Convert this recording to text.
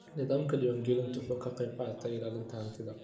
Nidaamka diiwaangelintu wuxuu ka qaybqaataa ilaalinta hantida.